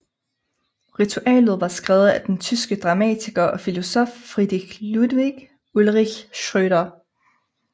Ritualet er skrevet af den tyske dramatiker og filosof Friedrich Ludwig Ulrich Schröder